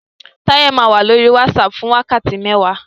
Táyẹ́ máa wá lórí WhatsApp fún wákàtí mẹ́wàá